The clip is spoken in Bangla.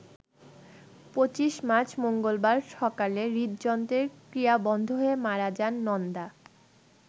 ২৫ মার্চ মঙ্গলবার সকালে হৃদযন্ত্রের ক্রিয়া বন্ধ হয়ে মারা যান নন্দা।